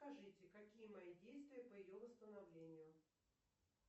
скажите какие мои действия по ее восстановлению